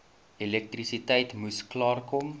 elektrisiteit moes klaarkom